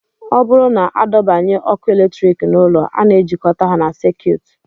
Ọ bụrụ na adọbanye ọkụ eletrik n'ụlọ, a na-ejikọta ha na sakiut